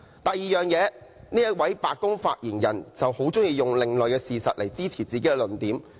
第二，這位白宮發言人很喜歡用另類事實來支持自己的論點。